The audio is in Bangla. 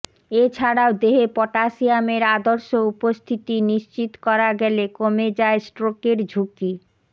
এ ছাড়াও দেহে পটাসিয়ামের আদর্শ উপস্থিতি নিশ্চিত করা গেলে কমে যায় স্ট্রোকের ঝুঁকি